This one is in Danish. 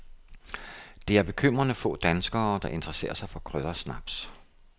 Det er bekymrende få danskere, der interesserer sig for kryddersnaps.